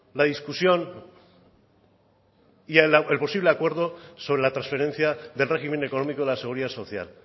la discusión y el posible acuerdo sobre la transferencia del régimen económico de la seguridad social